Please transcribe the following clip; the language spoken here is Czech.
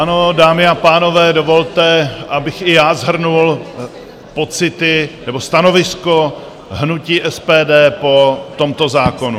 Ano, dámy a pánové, dovolte, abych i já shrnul pocity nebo stanovisko hnutí SPD po tomto zákonu.